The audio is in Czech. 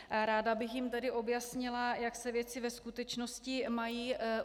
Ráda bych jim tedy objasnila, jak se věci ve skutečnosti mají.